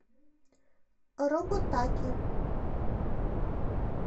роботаки